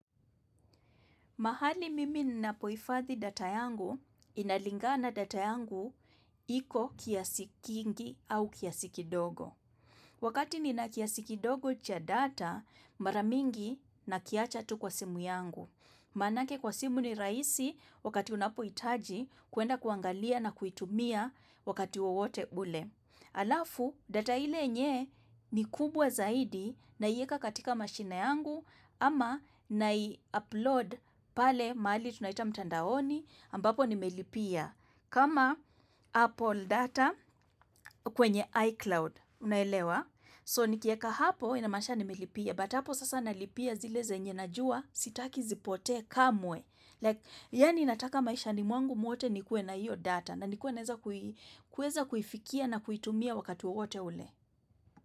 Mahali mimi ninapohifadhi data yangu, inalingana data yangu iko kiasi kingi au kiasi kidogo. Wakati nina kiasi kidogo cha data, mara mingi nakiacha tu kwa simu yangu. Manake kwa simu ni rahisi wakati unapo hitaji kuenda kuangalia na kuitumia wakati wowote ule. Alafu data ile yenye ni kubwa zaidi naieka katika mashine yangu ama nai-upload pale mahali tunaita mtandaoni ambapo nimelipia kama Apple data kwenye iCloud unaelewa so nikieka hapo inamaanisha nimelipia but hapo sasa nalipia zile zenye najua sitaki zipotee kamwe yaani nataka maisha mwangu mwote nikuwe na hiyo data na nikuwe naeza kui kueza kuifikia na kuitumia wakati wowote ule.